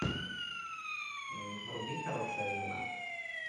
вруби хорошая жена